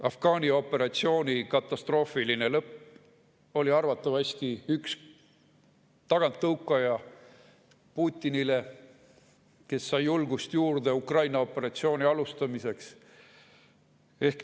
Afganistani operatsiooni katastroofiline lõpp oli arvatavasti üks taganttõukaja Putinile, kes sai juurde julgust Ukraina operatsiooni alustamiseks.